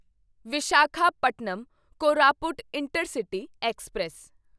Visakhapatnam Koraput intercity express